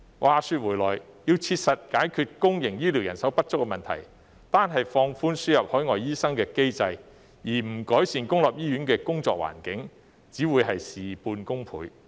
話說回來，要切實解決公營醫療人手不足的問題，單是放寬輸入海外醫生的機制，而不改善公立醫院的工作環境，只會事倍功半。